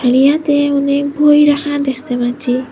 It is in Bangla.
ইহাতে অনেক বই রাখা দেখতে পাচ্ছি।